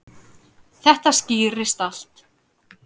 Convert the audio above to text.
Þetta skýrist allt.